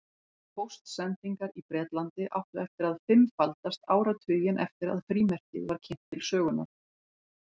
Póstsendingar í Bretlandi áttu eftir að fimmfaldast áratuginn eftir að frímerkið var kynnt til sögunnar.